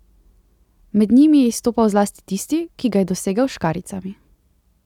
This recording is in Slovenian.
Med njimi je izstopal zlasti tisti, ki ga je dosegel s škarjicami.